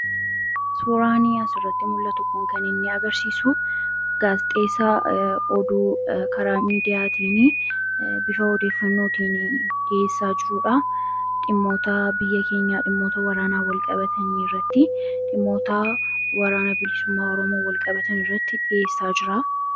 Suuraan asirratti mul'atu kun kan inni agarsiisu, gaazexeessaa oduu karaa miidiyaatiin bifa odeeffannootiin dhiyeessaa jirudha. Dhimmoota biyya keenyaa waraanaan wal qabatu irratti dhiyeessaa jira.